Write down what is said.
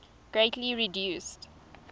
greatly reduced